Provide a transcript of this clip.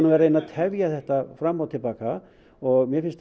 að reyna að tefja þetta fram og til baka og mér finnst